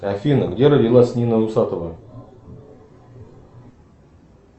афина где родилась нина усатова